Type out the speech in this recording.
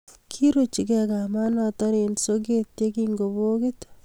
kiruchikei kamanoto eng soket yekingobokit